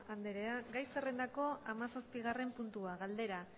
anderea gai zerrendako hamazazpigarren puntua galdera